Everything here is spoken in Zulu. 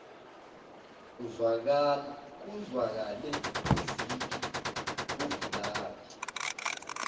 kuzwakale izigi kuvulandi